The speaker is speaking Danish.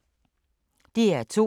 DR2